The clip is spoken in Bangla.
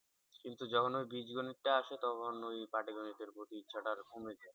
কিন্তু যখন ওই বীজগণিতটা আসে তখন ওই পাটিগণিত এর প্রতি ইচ্ছাটা আর কমে যায়।